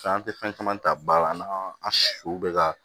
Fɛn an tɛ fɛn caman ta ba la n'an an su bɛ ka